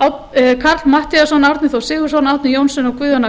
karl fimmti matthíasson árni þór sigurðsson árni johnsen og guðjón a